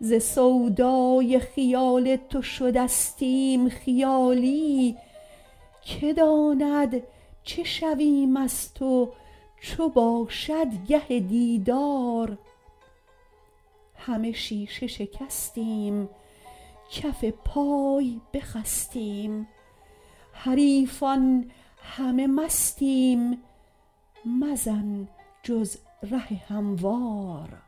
ز سودای خیال تو شدستیم خیالی کی داند چه شویم از تو چو باشد گه دیدار همه شیشه شکستیم کف پای بخستیم حریفان همه مستیم مزن جز ره هموار